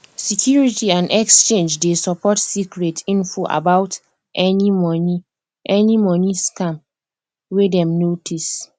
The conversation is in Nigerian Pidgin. security and exchange dey support secret info about any money any money scam wey dem notice